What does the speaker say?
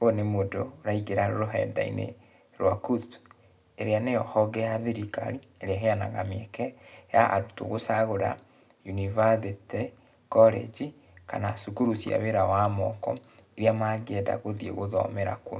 Ũyũ nĩ mũndũ, ũraingĩra rũrenda-inĩ rwa KUCCPS, ĩrĩa nĩyo honge ya thirikari, ĩrĩa nĩyo honge ya thirikari, ĩrĩa ĩheanaga mĩeke ya arutwo gũcagũra yunibathĩtĩ, korenji kana cukuru cia wĩra wa moko, iria mangĩenda gũthiĩ gũthomera kuo.